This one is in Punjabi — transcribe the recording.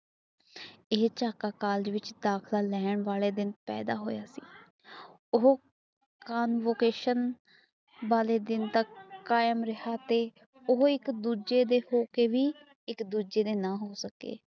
ਚੁਕਾ ਕਾਲਜ ਵਿੱਚ ਚਾਕਾ ਵਾਲੇ ਦਿਨ ਪੈਦਾ ਹੋਇਆ ਸੀ ਉਹ ਲੋਕੇਸ਼ਨ ਵਾਲੇ ਦਿਨ ਤੱਕ ਤੇ ਉਹ ਇਕ ਦੂਜੇ ਦੇ ਹੋ ਕੇ ਇਕ ਦੂਜੇ ਦੇ ਨਾ ਹੋ ਸਕੇ